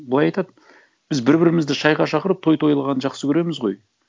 былай айтады біз бір бірімізді шайға шақырып той тойлағанды жақсы көреміз ғой